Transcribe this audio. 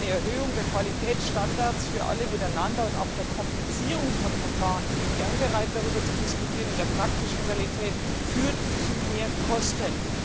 Eine Erhöhung der Qualitätsstandards für alle miteinander und auch die Komplizierung von Verfahren ich bin gerne bereit darüber zu diskutieren in der praktischen Realität führen zu mehr Kosten.